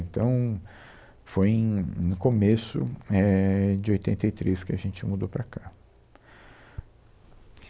Então, foi em, no começo é, de oitenta e três, que a gente mudou para cá.